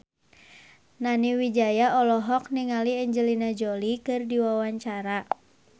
Nani Wijaya olohok ningali Angelina Jolie keur diwawancara